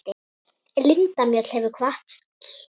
Linda Mjöll hefur kvatt.